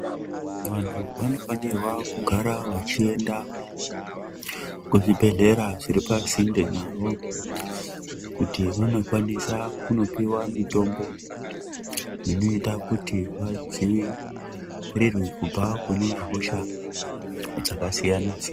Vantu vanofanirwa kugara vechienda kuzvibhedhlera zviri pasinde nawo kuti vandokwanisa kundopiwa mutombo ineita kuti vadzivirirwe kubva kune hosha dzakasiyana siyana.